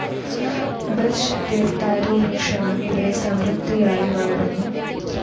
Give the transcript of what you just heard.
Birch, ദേവദാരു വൃക്ഷങ്ങൾ ഇവിടെ സമൃദ്ധിയായി വളരുന്നു.